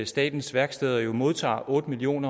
statens værksteder jo modtager otte million